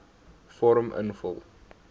vorm invul